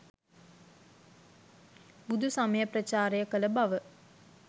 බුදු සමය ප්‍රචාරය කළ බව.